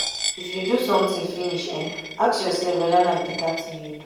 i f you do sometin finish ask yoursef weda na beta tin you do.